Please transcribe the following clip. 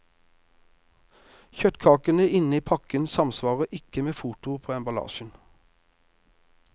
Kjøttkakene inne i pakken samsvarer ikke med fotoet på emballasjen.